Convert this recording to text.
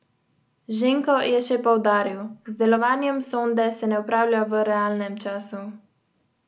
V četrtek so izpod ruševin rešili najmanj devet ljudi, ki so jih odpeljali v bolnišnice, šest so jih našli mrtvih.